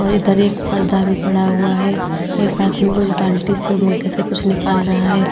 और इधर एक पर्दा भी पड़ा हुआ है। एक आदमी कुछ बाल्टी से औ मग्गे से कुछ निकाल रहा है।